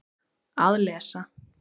Að lesa